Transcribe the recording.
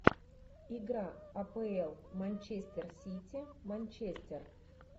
игра апл манчестер сити манчестер